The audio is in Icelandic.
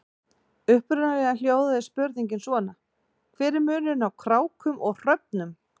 Upprunalega hljóðaði spurningin svona: Hver er munurinn á krákum og hröfnum?